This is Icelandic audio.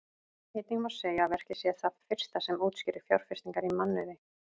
Einnig má segja að verkið sé það fyrsta sem útskýrir fjárfestingar í mannauði.